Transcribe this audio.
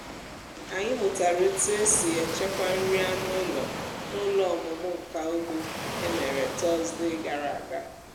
anyị mụtara otu e si echekwa nri anụ ụlọ n’ụlọ ọmụmụ nka ugbo e mere tọzdee gara aga